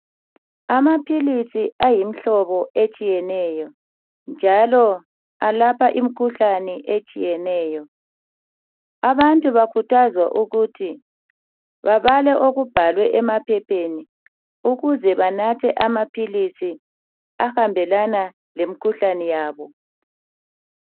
Amaphilisi ayimihlobo etshiyeneyo njalo alapha imikhuhlane etshiyeneyo. Abantu bakhuthaza ukuthi babale okubhalwe emaphepheni ukuze banathe amaphilisi ahambelana lemikhuhlane yabo.